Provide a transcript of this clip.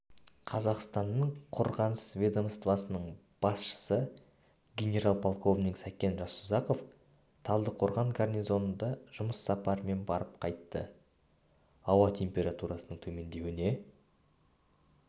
қазақстанның қорғаныс ведомствосының басшысы генерал-полковник сәкен жасұзақов талдықорған гарнизонында жұмыс сапарымен барып қайтты ауа температурасының төмендеуіне